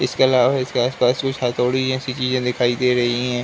इसके अलावा इसके आस-पास कुछ हथौड़ी जैसी चीजें दिखाई दे रही हैं।